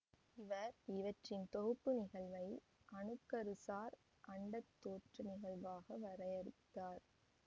இவர் இவற்றின் தொகுப்பு நிகழ்வை அணுக்கருசார் அண்டத் தோற்ற நிகழ்வாக வரையறுத்தார்